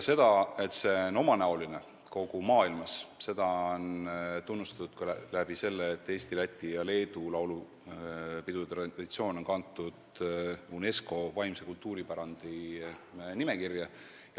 Seda, et see on omanäoline kogu maailmas, näitab ka see tunnustus, et Eesti, Läti ja Leedu laulupidude traditsioon on kantud UNESCO vaimse kultuuripärandi nimekirja.